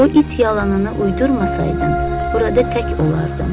O it yalanını uydurmasaydı, burada tək olardım.